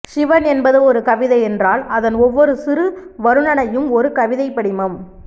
சிவன் என்பது ஒரு கவிதை என்றால் அதன் ஒவ்வொரு சிறு வருணனையும் ஒரு கவிதைப்படிமம்